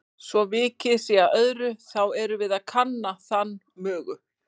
Svo vikið sé að öðru, þá erum við að kanna þann mögu